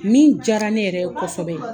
Min diyara ne yɛrɛ ye kosɛbɛ